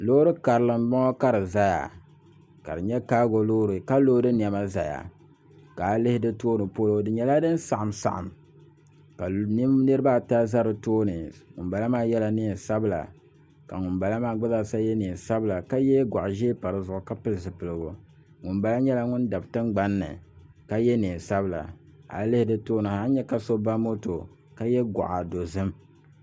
Loori karili n bɔŋɔ ka di ʒɛya ka di nyɛ kaago loori ka loodi niɛma ʒɛya ka a yi lihi di tooni polo di nyɛla din saɣam saɣam ka niraba ata ʒɛ di tooni ŋunbala maa yɛla neen sabila ka ŋunbala maa gba zaasa yɛ neen sabila ka yɛ goɣa ʒiɛ pa dizuɣu ka pili zipiligu ŋunbala nyɛla nyɛla ŋun dabi tingbanni ka yɛ neen sabila a yi lihi di tooni ha a ni nyɛ ka so ba moto ka yɛ goɣa dozim